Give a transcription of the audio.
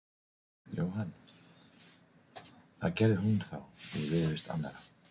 Jóhann: Það gerði hún þá í viðurvist annarra?